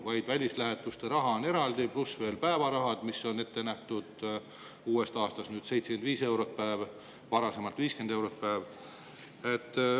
Neil on välislähetuste raha eraldi, pluss veel päevaraha, mida on uuest aastast 75 eurot päeva kohta, varasemalt oli 50 eurot päeva kohta.